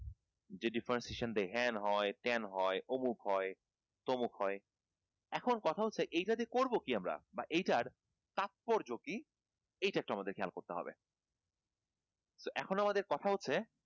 যে differentiation এ হেন হয় তেন হয় অমুক হয় তমুক হয় এখন কথা হচ্ছে এটা দিয়ে করবো কি আমরা বা এটার তাৎপর্য কি এটা একটু আমাদের খেয়াল করতে হবে তো এখন আমাদের কথা হচ্ছে